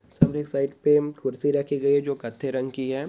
Side पे कुर्सी रखी गयी है जो कत्थे रंग की है।